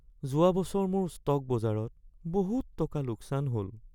যোৱা বছৰ মোৰ ষ্টক বজাৰত বহুত টকা লোকচান হ'ল